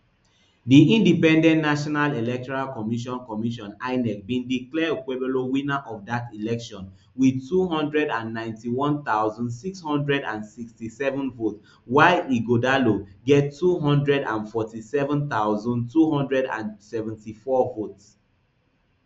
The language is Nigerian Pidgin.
di independent national electoral commission commission inec bindeclare okpebholo winnerof dat election wit two hundred and ninety-one thousand, six hundred and sixty-seven votes while ighodalo get two hundred and forty-seven thousand, two hundred and seventy-four votes